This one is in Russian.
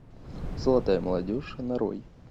золотая молодежь нарой